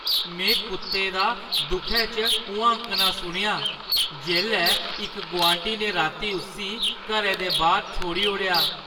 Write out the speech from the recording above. में कुत्ते दा दुखै च हुआंकना सुनेआ जेल्लै इक गुआंढी ने राती उस्सी घरै दे बाह्‌र छोड़ी ओड़ेआ।